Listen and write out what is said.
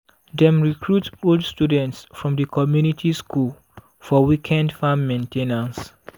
dem recruit old students from di community school for weekend farm main ten ance.